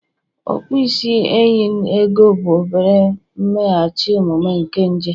okpo isi enyen ego, bụ obere mmeghachi omume nke nje